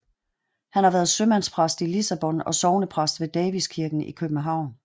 Han har været sømandspræst i Lissabon og sognepræst ved Davidskirken i København